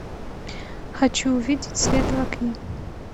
хочу увидеть свет в окне